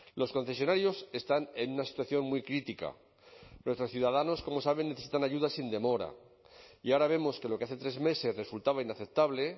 los concesionarios están en una situación muy crítica nuestros ciudadanos como saben necesitan ayuda sin demora y ahora vemos que lo que hace tres meses resultaba inaceptable